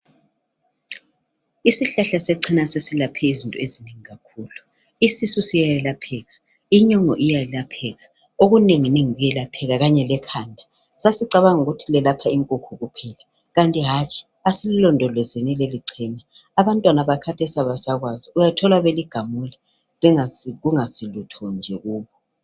Isihlahla sechena sesilaphe izinto ezinengi kakhulu , isisu siyelapheka , inyongo iyelapheka okunenenginengi kuyalapheka kanye lekhanda , sasicabanga ukuthi liyelapha inkukhu kuphela kanti hatshi asililondolezeni lelichena , abantwana bakhathesi abasakwaazi uyathola beligamula kungayisilutho nje kubo